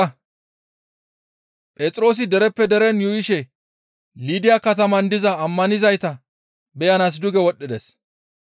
Phexroosi dereppe deren yuuyishe Liida kataman diza ammanizayta beyanaas duge wodhdhides.